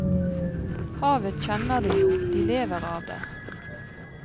Havet kjenner de jo, de lever av det.